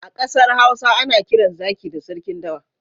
A ƙasar Hausa ana kiran zaki da sarkin dawa.